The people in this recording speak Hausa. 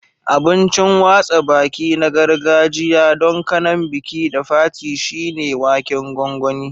Abincin watsa baki na gargajiya don kanan biki da fati shine waken gongoni.